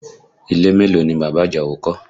Ilé mélòó ni bàbá Àjàó kọ́?